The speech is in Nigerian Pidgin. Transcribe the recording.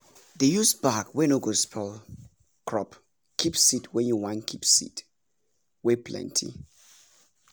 dey use bag wey no go spoil crop keep seed wen you wan keep seed wey plenty